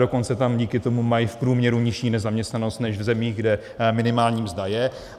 Dokonce tam díky tomu mají v průměru nižší nezaměstnanost než v zemích, kde minimální mzda je.